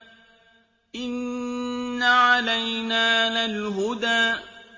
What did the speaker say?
إِنَّ عَلَيْنَا لَلْهُدَىٰ